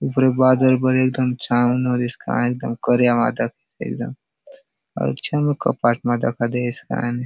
ऊपरे बादल बले एकदम छाव मा होली से कायने एकदम करिया मा दखेसे एकदम अउर छमे कपाट मा दखा दयेसे कायने।